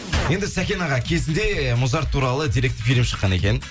енді сәкен аға кезінде музарт туралы деректі фильм шыққан екен